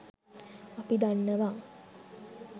අපි දන්නවා